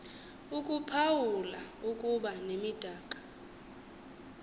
ukuphawula ukuba nemidaka